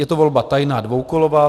Je to volba tajná, dvoukolová.